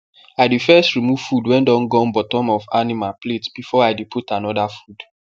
i dey first remove food wen don gum bottom of the animal plate before i dey put another food